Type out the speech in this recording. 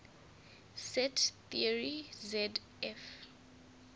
set theory zf